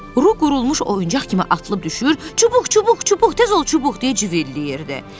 Ru qurulmuş oyuncaq kimi atılıb düşür, çubuq, çubuq, çubuq, tez ol çubuq deyə ciyildəyirdi.